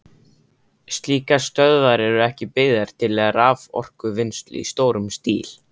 Slíkar stöðvar eru ekki byggðar til raforkuvinnslu í stórum stíl.